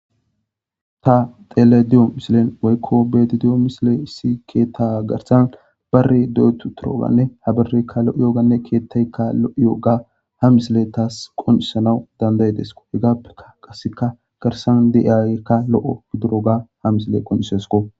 ta xele diyo misilen waykko beti di7o misile issi keetta garsan barre deetu toroganne habareykka lo7oyooganne keettaykka lo7oyooga hamisile taas qon7isanaw danday desko he gaappeka qaseka garsan deyaykka lo7o gidiro ga hamisile qonisesko